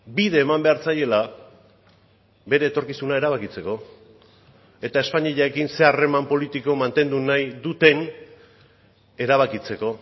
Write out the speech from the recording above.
bide eman behar zaiela bere etorkizuna erabakitzeko eta espainiarekin zein harreman politiko mantendu nahi duten erabakitzeko